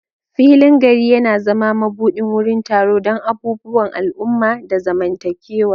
Filin garin yana zama mabuɗin wurin taro don abubuwan al'umma da zamantakewa.